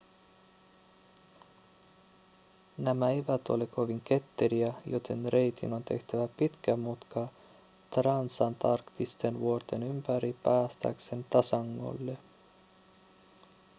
nämä eivät ole kovin ketteriä joten reitin on tehtävä pitkä mutka transantarktisten vuorten ympäri päästäkseen tasangolle